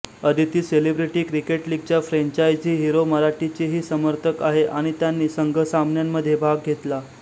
Aditi celebrity cricket लीगच्या franchisee hero मराठीचीही समर्थक आहे आणि त्यांनी संघ सामन्यांमध्ये भाग घेतला